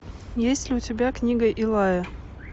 есть ли у тебя книга илая